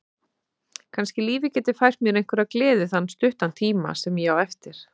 Kannski lífið geti fært mér einhverja gleði þann stutta tíma sem ég á eftir.